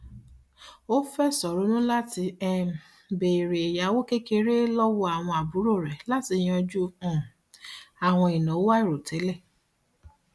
ó fẹsọ ronú látí um béèrè ẹyáwó kékeré lọwọ àwọn àbúrò rẹ latí yanjú um àwọn ìnáwó àìròtẹlẹ